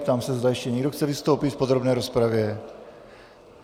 Ptám se, zda ještě někdo chce vystoupit v podrobné rozpravě.